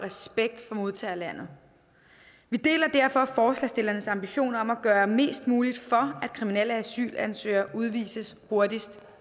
modtagerlandet vi deler derfor forslagsstillernes ambition om at gøre mest muligt for at kriminelle asylansøgere udvises hurtigst